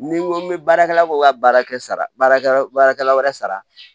Ni n ko bɛ baarakɛla ko n ka baara kɛ sara baarakɛla baarakɛla wɛrɛ sara